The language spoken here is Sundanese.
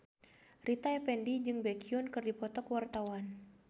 Rita Effendy jeung Baekhyun keur dipoto ku wartawan